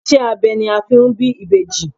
Ìṣe abẹ ni a fi ń bí ìbejì.